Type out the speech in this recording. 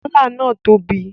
Gala náà tóbi.